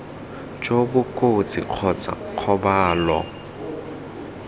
jo bo kotsi kgotsa kgobalo